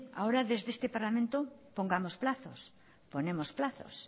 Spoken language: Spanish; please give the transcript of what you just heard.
ahora desde este parlamento pongamos plazos ponemos plazos